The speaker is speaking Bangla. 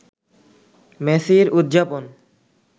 মেসির উদযাপন